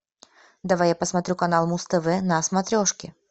давай я посмотрю канал муз тв на смотрешке